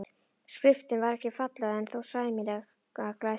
Skriftin var ekki falleg en þó sæmilega læsileg.